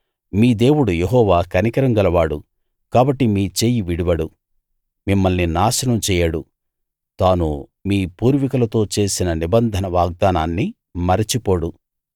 మీ దేవుడు యెహోవా కనికరం గలవాడు కాబట్టి మీ చెయ్యి విడవడు మిమ్మల్ని నాశనం చేయడు తాను మీ పూర్వీకులతో చేసిన నిబంధన వాగ్దానాన్ని మరచిపోడు